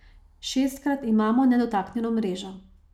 Šestkrat imamo nedotaknjeno mrežo.